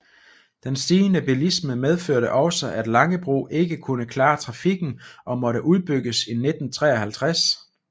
Den stigende bilisme medførte også at Langebro ikke kunne klare trafikken og måtte udbygges i 1953